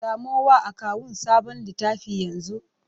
Samo wa akawun sabon littafi yanzu!